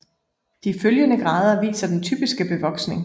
De følgende grader viser den typiske bevoksning